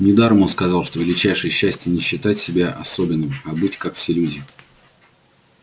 недаром он сказал что величайшее счастье не считать себя особенным а быть как все люди